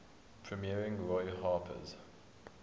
premiering roy harper's